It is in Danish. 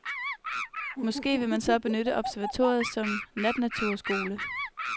Måske vil man så benytte observatoriet som natnaturskole.